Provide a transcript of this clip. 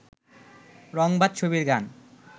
রংবাজ ছবির গান